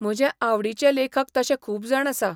म्हजे आवडीचे लेखक तशे खूब जाण आसा.